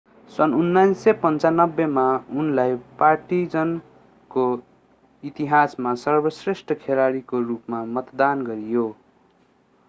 सन् 1995 मा उनलाई पार्टिजानको इतिहासमा सर्वश्रेष्ठ खेलाडीको रूपमा मतदान गरियो